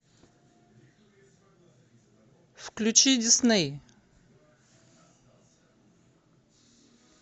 включи дисней